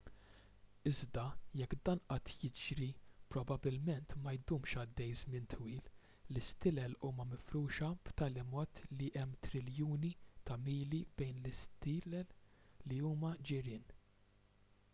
iżda jekk dan qatt jiġri probabbilment ma jdumx għaddej żmien twil l-istilel huma mifruxa b'tali mod li hemm triljuni ta' mili bejn l-stilel li huma ġirien